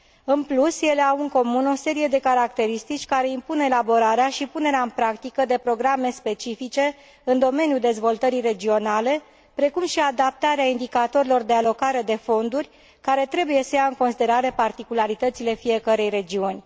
În plus, ele au în comun o serie de caracteristici care impun elaborarea și punerea în practică de programe specifice în domeniul dezvoltării regionale precum și adaptarea indicatorilor de alocare de fonduri, care trebuie să ia în considerare particularitățile fiecărei regiuni.